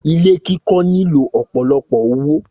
Ilé kikọ́ nílò ọ̀pọ̀lọpọ̀ owó